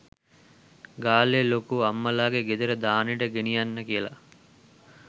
ගාල්ලේ ලොකු අම්මලාගේ ගෙදර දානෙට ගෙනියන්න කියලා